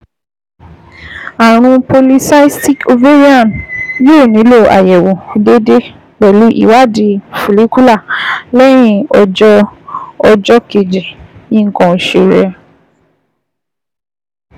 Ààrùn polycystic ovarian yóò nílò àyẹ̀wò déédéé pẹ̀lú ìwádìí follicular lẹ́yìn ọjọ́ ọjọ́ kejì nǹkan oṣù rẹ